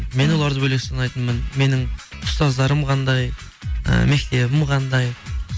мен оларды бөлек санайтынмын менің ұстаздарым қандай ы мектебім қандай